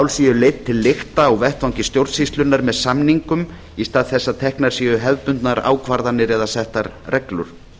leidd til lykta á vettvangi stjórnsýslunnar með samningum í stað þess að teknar séu hefðbundnar ákvarðanir eða settar reglur